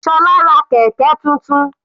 Sola ra kẹ̀kẹ́ tuntun.